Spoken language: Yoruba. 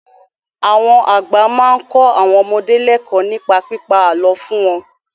Àwọn àgbà máa ń kọ́ àwọn ọmọdé lẹ́kọ̀ọ́ nípa pípa àlọ́ fún wọn.